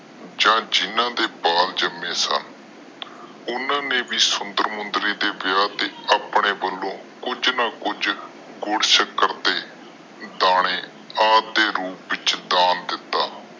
ਜਾ ਜਿਨ੍ਹਾਂ ਦੇ ਬਾਲ ਜਾਮੇ ਸਨ ਓਹਨਾ ਨੇ ਵੀ ਸੁੰਦਰ ਮੁੰਦਰੀ ਦੇ ਵਿਆਹ ਦੇ ਵਿਚ ਆਪਣੇ ਵਲੋਂ ਦਾਣੇ ਜਾ ਕੁਜ ਗੁਰਡ ਸ਼ੱਕਰ ਅੱਪ ਦੇ ਰੂਪ ਵਿਚ ਡੰਨ ਕੀਤਾ